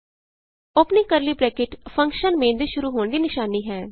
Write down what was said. opening curly bracket function main ਦੇ ਸ਼ੁਰੂ ਹੋਣ ਦੀ ਨਿਸ਼ਾਨੀ ਹੈ